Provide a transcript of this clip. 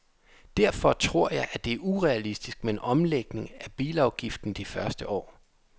Derfor tror jeg, at det er urealistisk med en omlægning af bilafgiften de første år.